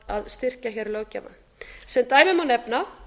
að styrkja hér löggjafann sem dæmi má nefna